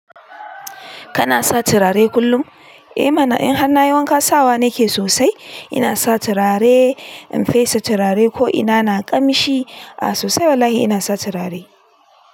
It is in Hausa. Kana sa turare kullum? Eh mana in har nayi wanka sawa nake sosai. Ina sa turare, in fesa turare ko ina na ƙamshi. A sosai wallahi ina sa turare.